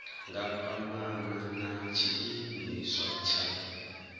nga kwamana na tshiimiswa tsha